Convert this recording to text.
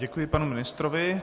Děkuji panu ministrovi.